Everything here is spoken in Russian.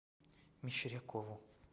мещерякову